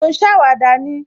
Mo ń ṣàwàdà ni